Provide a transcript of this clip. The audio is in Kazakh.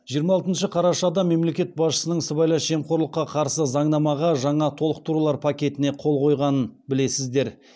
жиырма алтыншы қарашада мемлекет басшысының сыбайлас жемқорлыққа қарсы заңнамаға жаңа толықтырулар пакетіне қол қойғанын білесіздер